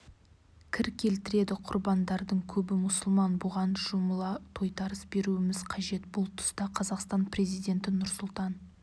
кір келтіреді құрбандардың көбі мұсылман бұған жұмыла тойтарыс беруіміз қажет бұл тұста қазақстан президенті нұрсұлтан